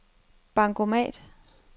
bankomat